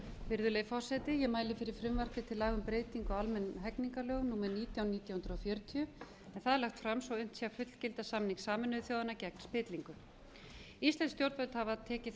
virðulegi forseti ég mæli fyrir frumvarpi til laga um breytingu á almennum hegningarlögum númer nítján nítján hundruð fjörutíu en það er lagt fram svo unnt sé að fullgilda samning sameinuðu þjóðanna gegn spillingu íslensk stjórnvöld hafa tekið